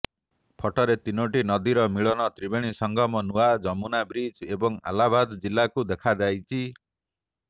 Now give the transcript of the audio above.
ଫଟୋରେ ତିନୋଟି ନଦୀର ମିଳନ ତ୍ରିବେଣୀ ସଂଗମ ନୂଆ ଯମୁନା ବ୍ରିଜ୍ ଏବଂ ଆହ୍ଲାବାଦ୍ କିଲ୍ଲାକୁ ଦେଖାଯାଇଛି